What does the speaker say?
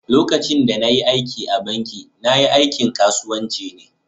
lokacin da na yi aiki a'banki, na. yi aikin kasuwanci ne.